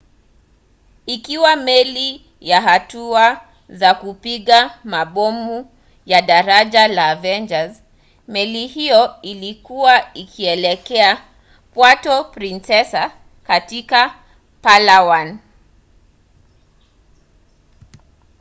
ikiwa meli ya hatua za kupinga mabomu ya daraja la avenger meli hiyo ilikuwa ikielekea puerto princesa katika palawan